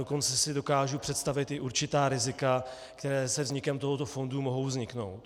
Dokonce si dokážu představit i určitá rizika, které se vznikem tohoto fondu mohou vzniknout.